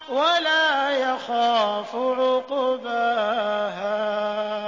وَلَا يَخَافُ عُقْبَاهَا